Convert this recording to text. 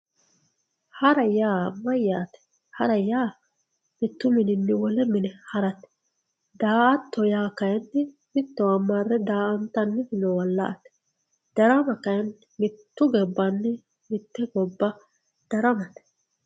hara yaa mayyate hara yaa mittu mininni wole mine harate daa''atto yaa kayiinni mittowa marre daa''antanniri noowa marre la''ate darama kayiinni mitte gobbanni mitte gobba daramate